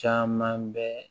Caman bɛ